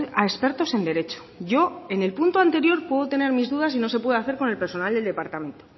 a expertos en derecho yo en el punto anterior puedo tener mis dudas y no se puede hacer con el personal del departamento